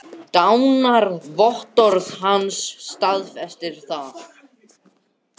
Sjá einnig svar Ólafs Páls Jónssonar við sömu spurningu.